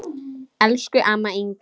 Elsku amma Inga.